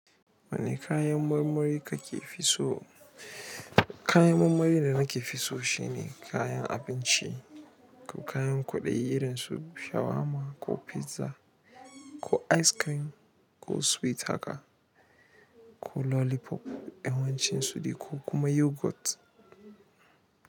Wane kayan murmuri kake fi so? Kayan marmari da nake fi so shine kayan abinci, ko kayan kwaɗayi irin su shawarma, ko pizza ko ice cream ko sweet haka ko lollipop, yawancin su dai ko yogurt.